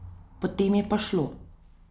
Potem je pa šlo.